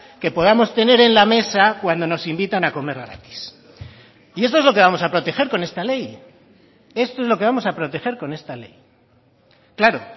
que podamos tener en la mesa cuando nos invitan a comer gratis y esto es lo que vamos a proteger con esta ley esto es lo que vamos a proteger con esta ley claro